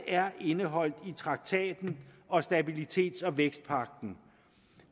er indeholdt i traktaten og stabilitets og vækstpagten